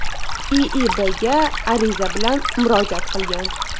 IIBga ariza bilan murojaat qilgan.